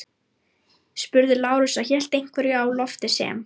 spurði Lárus og hélt einhverju á lofti sem